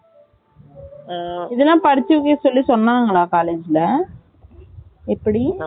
ஆ இதுலாம் படிச்சி வைங்கன்னு சொல்லி சொன்னாங்களா College ல எப்படி